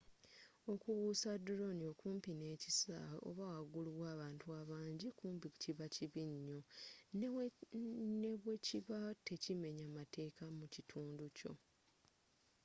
okubuusa drone okumpi n'ekisaawe oba wagulu w'abantu abanji kumpi kiba kibbinyo nebwekibba tekimenya mateeka mukitundukyo